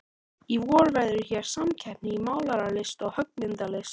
Í vor verður hér samkeppni í málaralist og höggmyndalist.